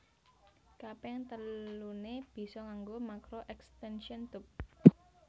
Kaping teluné bisa nganggo makro extention tube